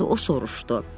o soruşdu.